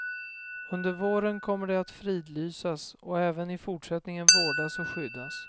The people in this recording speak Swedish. Under våren kommer det att fridlysas och även i fortsättningen vårdas och skyddas.